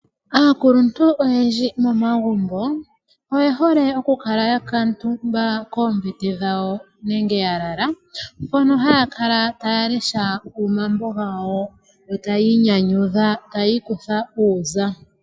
Aakuluntu oyendji momagumbo oye hole okukala ya kuutumba koombete dhawo nenge ya lala mpono haa kala taya lesha omambo gawo, yo tayi inyanyudha tayi ikutha uuza.